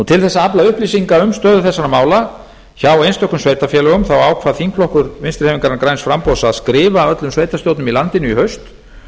til að afla upplýsinga um stöðu þessara mála hjá einstökum sveitarfélögum ákvað þingflokkur vinstri hreyfingarinnar græns framboðs að skrifa öllum sveitarstjórnum í landinu í haust